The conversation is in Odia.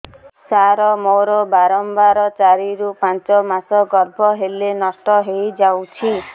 ସାର ମୋର ବାରମ୍ବାର ଚାରି ରୁ ପାଞ୍ଚ ମାସ ଗର୍ଭ ହେଲେ ନଷ୍ଟ ହଇଯାଉଛି